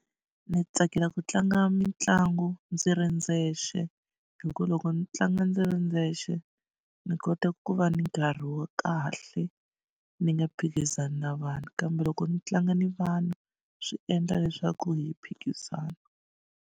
Ndzi tsakela ku tlanga mitlangu ndzi ri ndzexe hikuva loko ndzi tlanga ndzi ri ndzexe ndzi kota ku va ni nkarhi wa kahle ni nga phikizani na vanhu kambe loko ndzi tlanga ni vanhu swi endla leswaku hi phikizana.